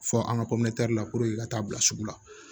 Fɔ an ka la ka taa bila sugu la